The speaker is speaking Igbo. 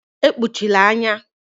Ekpuchala anya.